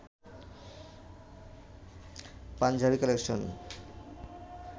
Punjabi collection